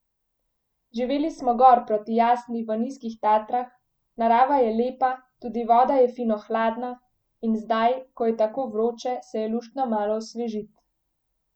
Živeli smo gor proti Jasni v Nizkih Tatrah, narava je lepa, tudi voda je fino hladna in zdaj, ko je tako vroče, se je luštno malo osvežit.